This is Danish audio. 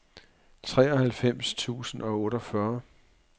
treoghalvfems tusind og otteogfyrre